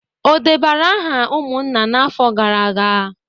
O debara aha umunna afo gara aga?